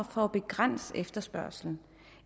for at begrænse efterspørgslen